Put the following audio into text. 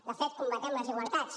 de fet combatem les desigualtats